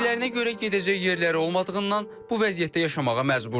Dediklərinə görə gedəcək yerləri olmadığından bu vəziyyətdə yaşamağa məcburdular.